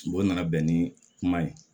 O nana bɛn ni kuma ye